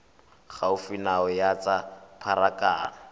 gaufi nao ya tsa pharakano